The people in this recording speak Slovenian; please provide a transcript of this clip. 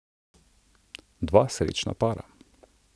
Dva srečna para!